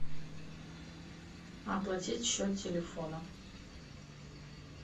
оплатить счет телефона